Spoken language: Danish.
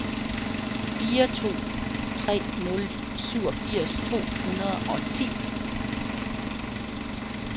fire to tre nul syvogfirs to hundrede og ti